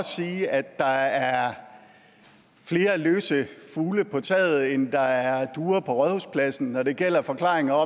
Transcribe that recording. sige at der er flere løse fugle på taget end der er duer på rådhuspladsen når det gælder forklaringer